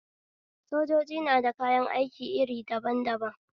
Sojoji na da yakan aiki iri daban daban